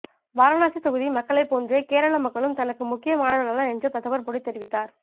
வாரணாசி தொகுதி மக்களை போன்று கேரள மக்களும் தனக்கு முக்கியமானவர்கள்தான் என்று பிரதமர் மோடி தெரிவித்தார்